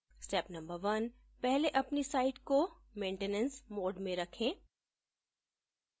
step no 1: पहले अपनी site को maintenance mode में रखे